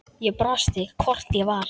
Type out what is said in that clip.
Ég brosti, hvort ég var!